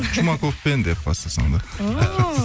чумаковпен деп бастасаң да о